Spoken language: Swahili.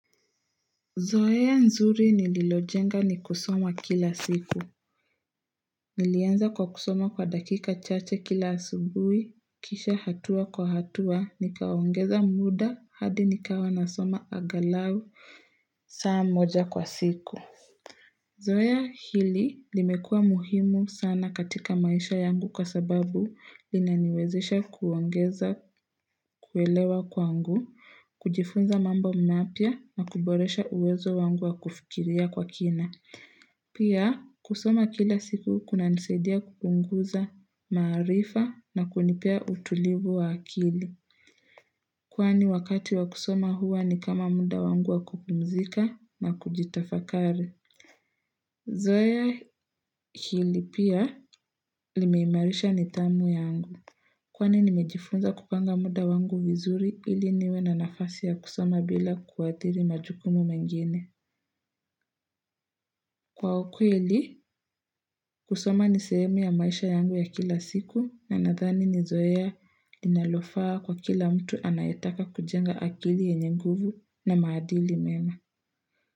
Zoea nzuri nililojenga ni kusoma kila siku. Nilianza kwa kusoma kwa dakika chache kila asubuhi, kisha hatua kwa hatua, nikaongeza muda hadi nikawa nasoma angalau saa moja kwa siku. Zoea hili limekua muhimu sana katika maisha yangu kwa sababu linaniwezesha kuongeza kuelewa kwangu, kujifunza mambo mapya na kuboresha uwezo wangu wa kufikiria kwa kina. Pia kusoma kila siku kunanisadia kupunguza, maarifa na kunipea utulivu wa akili. Kwani wakati wa kusoma huwa ni kama muda wangu wa kupumzika na kujitafakari. Zoea hili pia limeimarisha nidhamu yangu. Kwani nimejifunza kupanga muda wangu vizuri ili niwe na nafasi ya kusama bila kuadhiri majukumu mengine. Kwa ukweli kusama ni sehemu ya maisha yangu ya kila siku na nadhani ni zoea linalofaa kwa kila mtu anayetaka kujenga akili yenye nguvu na maadili mema.